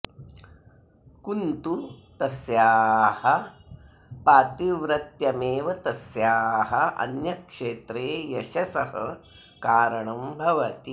कुन्तु तस्याः पातिव्रत्यमेव तस्याः अन्यक्षेत्रे यशसः कारणं भवति